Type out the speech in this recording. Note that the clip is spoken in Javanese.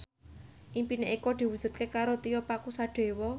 impine Eko diwujudke karo Tio Pakusadewo